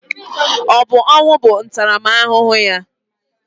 Ọ bụ ọnwụ bụ ntaramahụhụ ya?